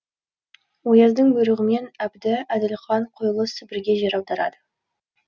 ояздың бүйрығымен әбді әділқан құйылыс сібірге жер аударады